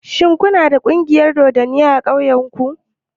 Shin ku na da ƙungiyar dodanni a ƙauyen ku?